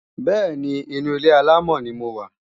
Bẹ́ẹ̀ni, inu ilé-àlámọ̀ ni mo wà